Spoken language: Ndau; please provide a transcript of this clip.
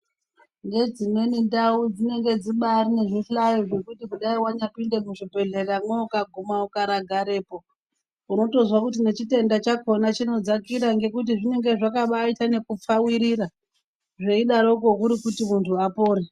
Ngedzimweni ndau dzinenge dzibari nezvihlayo zvekuti kudayi wanhapinde muzvibhedhleramwo ukaguma ukaragarepo unotozwa kuti nechitwnda chakona chinodzakira ngekuti zvinenga zvakabaita nekupfawirira zveidarokwo kuri kuti muntu apone.